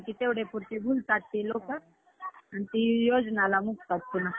कि तेवढेपुरते भुलतात ते लोकं. आणि ती योजनाला मुकतात पुन्हा.